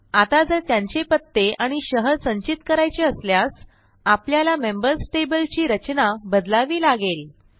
आता जर त्यांचे पत्ते आणि शहर संचित करायचे असल्यास आपल्याला मेंबर्स टेबल ची रचना बदलावी लागेल